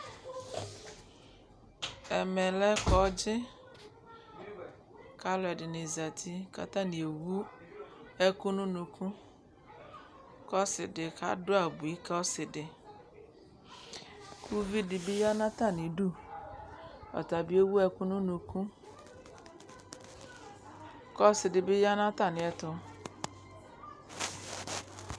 Ɛmɛ lɛ kɔŋdzɩ: k'alʋɛdɩnɩ zati , k'atanɩ ewu ɛkʋ n'unuku ;k'ɔsɩdɩ kadʋ abui k'ɔsɩdɩ K'uvidɩ bɩ ya n'atamidu , ɔta bɩ ewu ɛkʋ n'unuku , k'ɔsɩdɩ bɩ ya n'atamɩɛtʋ